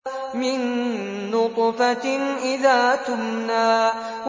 مِن نُّطْفَةٍ إِذَا تُمْنَىٰ